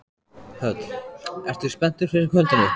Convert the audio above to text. Hödd: Ertu spenntur fyrir kvöldinu?